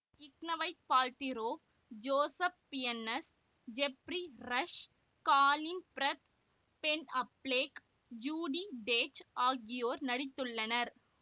Gwyneth Paltrow Joseph Fiennes Geoffrey Rush Colin Firth Ben Affleck Judi Dench ஆகியோர் நடித்துள்ளனர்